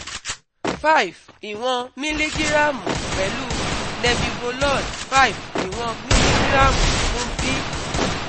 five iwon miligiramu pẹlu nebivolol five iwon miligiramu fun B